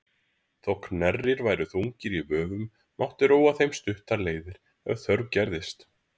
Þótt knerrir væru þungir í vöfum mátti róa þeim stuttar leiðir ef þörf gerðist.